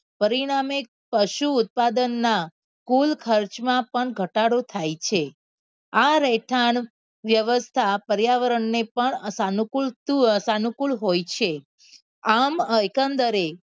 પરિણામે પશુ ઉત્પાદનના કુલ ખર્ચમાં પણ ઘટાડો થાય છે. આ રહેઠાણ વેવસ્થા પર્યાવરણને પણ સાનુકૂળ હોય છે આમ એકંદરે